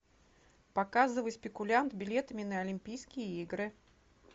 показывай спекулянт билетами на олимпийские игры